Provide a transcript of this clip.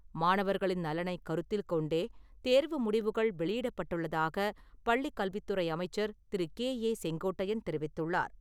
மாணவர்களின் நலனை கருத்தில் கொண்டே தேர்வு முடிவுகள் வெளியிடப்பட்டுள்ளதாக பள்ளிக் கல்வித்துறை அமைச்சர் திரு. கே.ஏ.செங்கோட்டையன் தெரிவித்துள்ளார்.